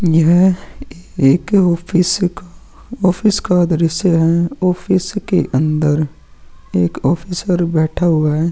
यह एक ऑफिस का ऑफिस का एक द्रिश्य है ऑफिस के अंदर एक ऑफिसर बैठा हुआ है।